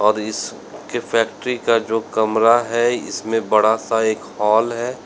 और इस के फैक्ट्री का जो कमरा है इसमें बड़ा सा एक हॉल है।